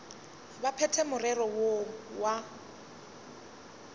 ba phethe morero woo wa